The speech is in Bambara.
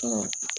Ɔ